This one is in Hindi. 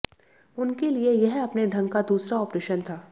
उनके लिए यह अपने ढंग का दूसरा ऑपरेशन था